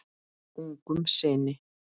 Ungum syni